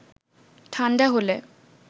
ঠাণ্ডা হলে